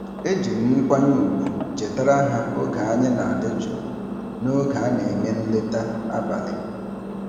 Eji m nkwanye ùgwù chetara ha oge anyị na-adị jụụ n’oge a na-eme nleta abalị.